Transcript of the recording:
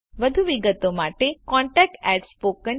વધુ વિગતો માટે contactspoken tutorialorg પર સંપર્ક કરો